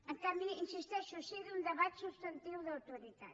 en canvi hi insisteixo sí a un debat substantiu d’autoritat